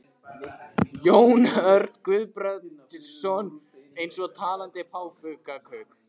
Jón Örn Guðbjartsson: Eins og talandi páfagaukar?